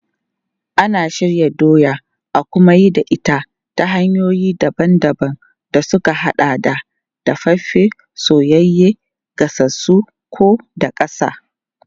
Ana shirya doya a kuma yi da ita ta hanyoyi daban-daban da suka haɗa da dafaffe, soyayye, gasassu ko daƙasa.